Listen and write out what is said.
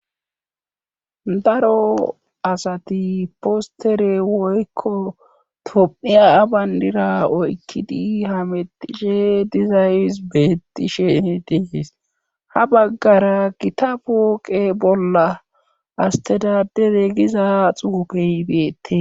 Daro asati postere woykko tom'iya abandira oykkidi hametishe dizays beettishe dehes ha baggara gita pooqe bolla astadadere giza xuupehibeete.